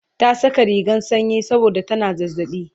ta Saka rigan sanyi saboda tana zazzaɓi